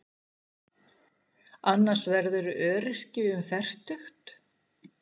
Annars verðurðu öryrki um fertugt.